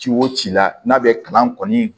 Ci o ci la n'a bɛ kalan kɔni